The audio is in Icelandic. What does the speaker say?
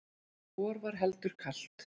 vor var heldur kalt